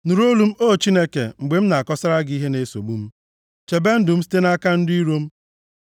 Nụrụ olu m O Chineke, mgbe m na-akọsara gị ihe na-esogbu m. Chebe ndụ m site nʼaka ndị iro m.